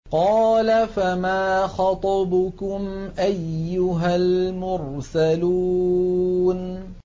قَالَ فَمَا خَطْبُكُمْ أَيُّهَا الْمُرْسَلُونَ